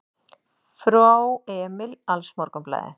Frá Emil AlsMorgunblaðið